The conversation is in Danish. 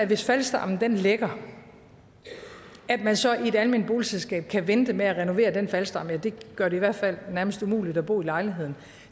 hvis faldstammen lækker at man så i et alment boligselskab kan vente med at renovere den faldstamme det gør det i hvert fald nærmest umuligt at bo i lejligheden